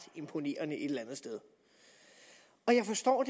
imponerende jeg forstår